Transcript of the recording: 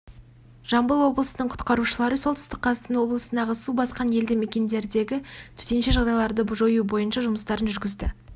жамбыл облысының құтқарушылары солтүстік қазақстан облысындағы су басқан елді мекендердегі төтенше жағдайларды жою бойынша жұмыстарын жүргізді